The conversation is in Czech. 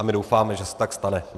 A my doufáme, že se tak stane.